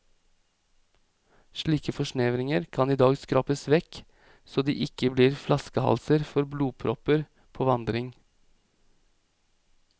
Slike forsnevringer kan i dag skrapes vekk så de ikke blir flaskehalser for blodpropper på vandring.